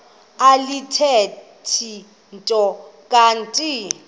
alithethi nto kanti